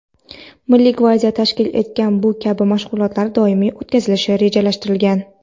Milliy gvardiya tashkil etgan bu kabi mashg‘ulotlar doimiy o‘tkazilishi rejalashtirilgan.